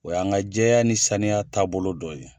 O y' an ka jɛya ni saniya taabolo dɔ ye.